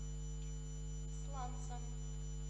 сланцам